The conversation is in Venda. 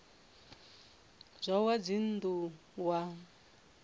wa zwa dzinn ḓu wa